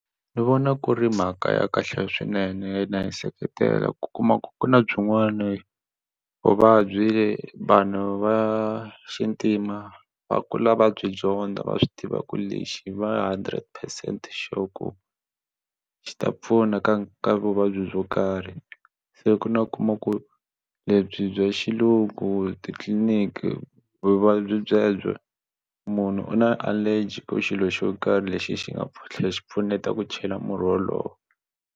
Ni vona ku ri mhaka ya kahle swinene yona na yi seketela ku kuma ku ku na byinwani vuvabyi vanhu va xintima va kula va byi dyondza va swi tiva ku lexi va hundred percent sure xi ta pfuna ka ka vuvabyi byo karhi se ku na u kuma ku lebyi bya xilungu titliniki vuvabyi byebyo munhu u na allergy ka xilo xo karhi lexi xi nga tlhela xi pfuneta ku chela murhi wolowo.